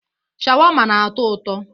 Sháwámá na-atọ ụtọ.